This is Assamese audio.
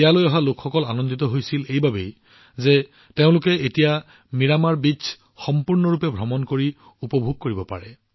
ইয়ালৈ অহা লোকসকল এই কথা জানি আনন্দিত হৈছিল যে তেওঁলোকে এতিয়া মিৰামাৰ বীচ সম্পূৰ্ণৰূপে উপভোগ কৰিব পাৰে